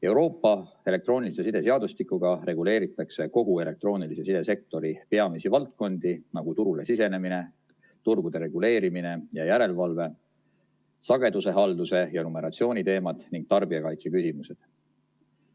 Euroopa elektroonilise side seadustikuga reguleeritakse kogu elektroonilise sidesektori peamisi valdkondi, nagu turule sisenemine, turgude reguleerimine ja järelevalve, sagedushalduse ja numeratsiooni teemad ning tarbijakaitse küsimused.